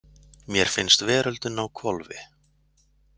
Mér finnst veröldin á hvolfi.